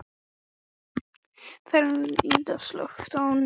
Ferdínand, slökktu á niðurteljaranum.